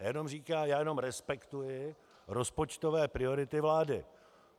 Já jenom říkám - já jenom respektuji rozpočtové priority vlády.